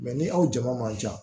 ni aw jama man ca